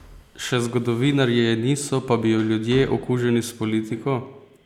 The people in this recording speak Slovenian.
Še zgodovinarji je niso, pa bi jo ljudje, okuženi s politiko?